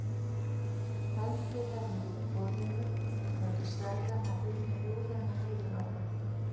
Heldur henni yfir borðinu og lætur seðlana hrynja úr henni niður á það.